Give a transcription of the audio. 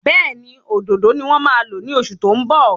Béèni òdòdó ni wón máa lo ni oṣù tó ń bọ̀